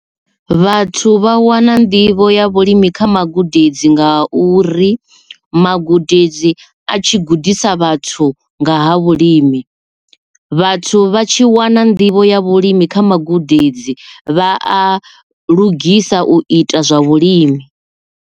Vhathu vha wana nḓivho ya vhulimi kha magudedzi nga uri magudedzi a tshi gudisa vhathu nga ha vhulimi vhathu vha tshi wana nḓivho ya vhulimi kha magudedzi vha a lugisa u ita zwa vhulimi.